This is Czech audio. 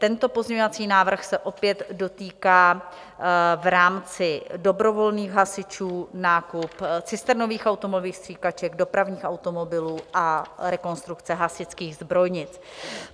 Tento pozměňovací návrh se opět dotýká v rámci dobrovolných hasičů, nákup cisternových automobilových stříkaček, dopravních automobilů a rekonstrukce hasičských zbrojnic.